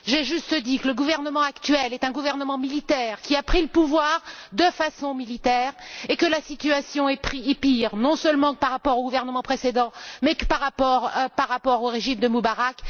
J'ai juste dit que le gouvernement actuel est un gouvernement militaire qui a pris le pouvoir de façon militaire et que la situation est pire, non seulement, par rapport au gouvernement précédent mais par rapport au régime de Moubarak.